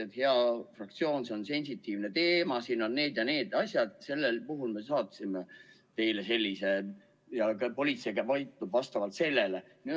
Et, hea fraktsioon, see on sensitiivne teema, siin on need ja need asjad, sellel puhul me saatsime teile sellise memo ja politsei peab tegutsema vastavalt sellele ja sellele.